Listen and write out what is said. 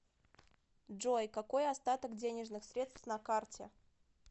джой какой остаток денежных средств на карте